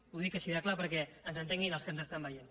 ho dic així de clar perquè ens entenguin els que ens estan veient